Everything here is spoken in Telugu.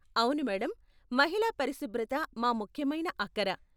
అవును మేడమ్, మహిళా పరిశుభ్రత మా ముఖ్యమైన అక్కర.